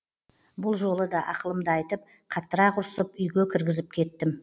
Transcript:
бұл жолы да ақылымды айтып қаттырақ ұрсып үйге кіргізіп кеттім